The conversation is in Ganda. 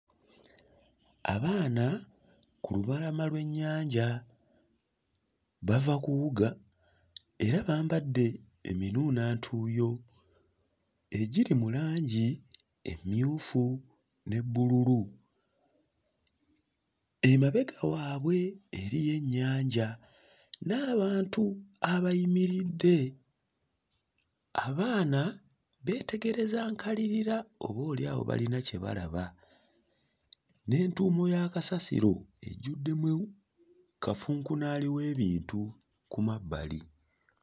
Abaana ku lubalama lw'ennyanja bava kuwuga era bambadde eminuunantuuyo egiri mu langi emmyufu ne bbululu. Emabega wabwe eriyo ennyanja n'abantu abayimiridde, abaana beetegereza nkalirira oboolyawo bayina kye balaba n'entuumo ya kasasiro ejjuddemu kafunkunaali w'ebintu ku mabbali.